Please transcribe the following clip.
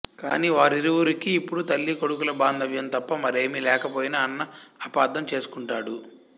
కాని వారిరువురికి ఇప్పుడు తల్లీ కొడుకుల బాంధవ్యం తప్ప మరేమీ లేకపోయినా అన్న అపార్థం చేసుకుంటాడు